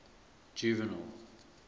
juvenal